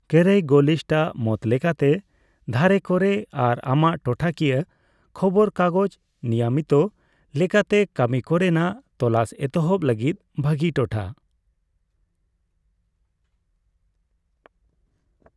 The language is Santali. ᱠᱮᱨᱮᱭᱜᱚᱞᱤᱥᱴ ᱟᱜ ᱢᱚᱛ ᱞᱮᱠᱟᱛᱮ ᱫᱷᱟᱨᱮ ᱠᱚᱨᱮ ᱟᱨ ᱟᱢᱟᱜ ᱴᱚᱴᱷᱟ ᱠᱤᱭᱟᱹ ᱠᱷᱚᱵᱚᱨ ᱠᱟᱜᱚᱪ ᱱᱤᱭᱢᱤᱫ ᱞᱮᱠᱟᱛᱮ ᱠᱟᱹᱢᱤ ᱠᱚᱨᱮᱱᱟᱜ ᱛᱚᱞᱟᱥ ᱮᱛᱦᱚᱵ ᱞᱟᱹᱜᱤᱫ ᱵᱷᱟᱜᱤ ᱴᱚᱴᱷᱟ ᱾